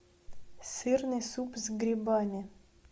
сырный суп с грибами